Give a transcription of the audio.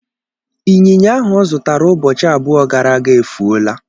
Ịnyịnya ahụ ọ zụtara ụbọchị abụọ gara aga efuola.